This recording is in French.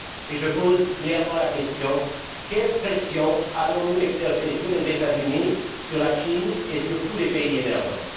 Je pose clairement la question quelle pression allons nous exercer sur les États Unis, sur la Chine et sur tous les pays émergents?